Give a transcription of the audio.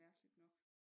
Mærkeligt nok